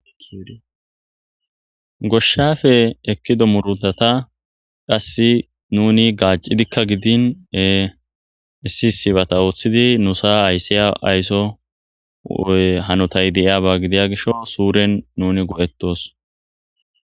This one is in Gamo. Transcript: Goshshafe ekkido murutata qass nuni gaaccidikka gidine issi sibata ooththidi nu saa ayssiya aysso hanotay deiaba gidiya gisho suuren nuni go7ettos.